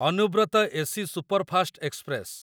Anubrata AC superfast express